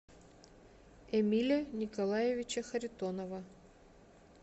эмиля николаевича харитонова